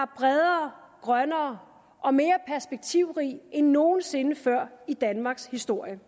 bredere grønnere og mere perspektivrig end nogen sinde før i danmarks historie